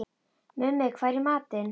Mummi, hvað er í matinn?